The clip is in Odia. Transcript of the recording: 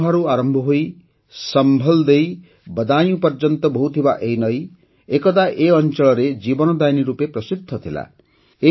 ଅମରୋହାରୁ ଆରମ୍ଭ ହୋଇସମ୍ଭଲ୍ ଦେଇ ବଦାୟୁଁ ପର୍ଯ୍ୟନ୍ତ ବହୁଥିବା ଏହି ନଦୀ ଏକଦା ଏହି ଅଞ୍ଚଳରେ ଜୀବନଦାୟିନୀ ରୂପେ ପ୍ରସିଦ୍ଧ ଥିଲା